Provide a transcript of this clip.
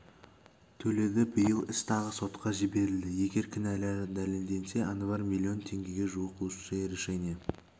төледі биыл іс тағы сотқа жіберілді егер кінәлары дәлелденсе анвар миллион теңгеге жуық лучшее решение